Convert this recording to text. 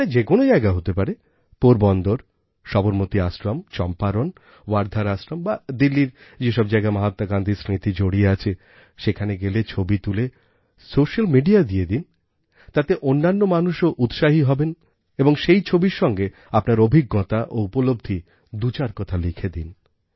সেটা যে কোনও জায়গা হতে পারে পোরবন্দর সবরমতী আশ্রম চম্পারণ ওয়ার্ধার আশ্রম বা দিল্লির যেসব জায়গায় মহাত্মা গান্ধীর স্মৃতি জড়িয়ে আছে সেখানে গেলে ছবি তুলে সোশ্যাল মিডিয়ায় দিয়ে দিন তাতে অন্যান্য মানুষও উৎসাহী হবে এবং সেই ছবির সঙ্গে আপনার অভিজ্ঞতা ও উপলব্ধি দুচার কথা লিখে দিন